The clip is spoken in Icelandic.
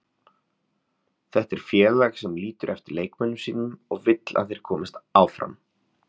Þetta er félag sem lítur eftir leikmönnum sínum og vill að þeir komist áfram.